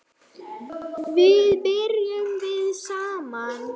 Þar bjuggum við saman.